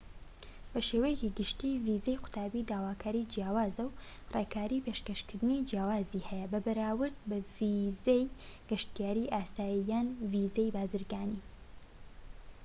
بە شێوەیەکی گشتی ڤیزەی قوتابی داواکاری جیاواز و ڕێکاری پێشکەشکردنی جیاوازی هەیە بەراورد بە ڤیزەی گەشتیاری ئاسایی یان ڤیزەی بازرگانی